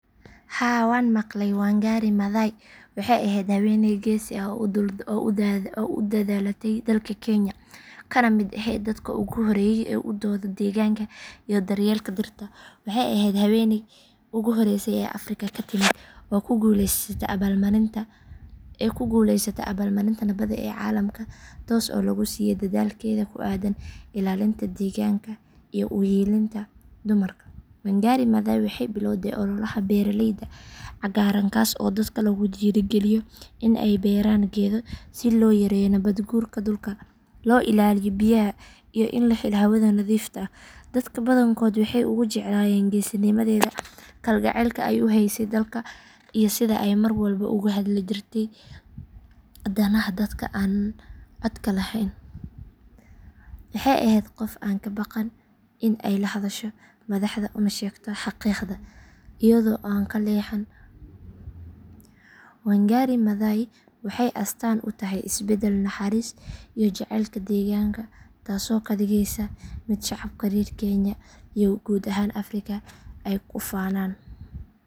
Haa waan maqalay wangari maathai waxay ahayd haweeney geesi ah oo u dhalatay dalka kenya kana mid ahayd dadka ugu horeeyay ee u dooda deegaanka iyo daryeelka dhirta. Waxay ahayd haweeneydii ugu horreysay ee afrika ka timid oo ku guuleysata abaalmarinta nabadda ee caalamka taas oo lagu siiyay dadaalkeeda ku aaddan ilaalinta deegaanka iyo u hiilinta dumarka. Wangari maathai waxay bilowday ololaha beeralayda cagaaran kaas oo dadka lagu dhiirrigeliyo in ay beeraan geedo si loo yareeyo nabaad guurka dhulka, loo ilaaliyo biyaha iyo in la helo hawada nadiifta ah. Dadka badankood waxay ugu jeclaayeen geesinimadeeda, kalgacalka ay u haysay dalka iyo sida ay mar walba ugu hadli jirtay danaha dadka aan codka lahayn. Waxay ahayd qof aan ka baqan in ay la hadasho madaxda una sheegto xaqiiqda iyada oo aan ka leexan. Wangari maathai waxay astaan u tahay isbeddel, naxariis iyo jacaylka deegaanka taasoo ka dhigaysa mid shacabka reer kenya iyo guud ahaan afrika ay ku faanaan.